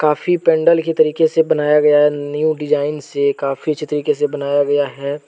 फी पैंडल के तरीके से बनाया गया है न्यू डिजाइन से काफी अच्छे तरीके से बनाया गया है।